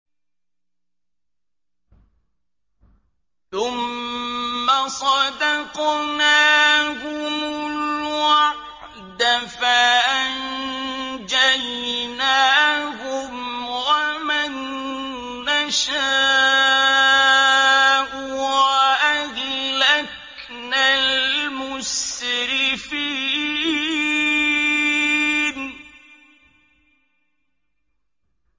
ثُمَّ صَدَقْنَاهُمُ الْوَعْدَ فَأَنجَيْنَاهُمْ وَمَن نَّشَاءُ وَأَهْلَكْنَا الْمُسْرِفِينَ